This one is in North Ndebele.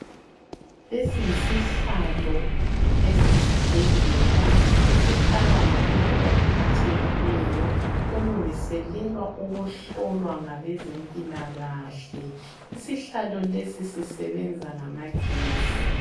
Lesi yisihlalo esesibhedlela esihlalwa ngumuntu ophathekileyo olungiselelwa ukuhlolwa ngabezempilakahle. Isihlalo lesi sisebenza ngamagesi.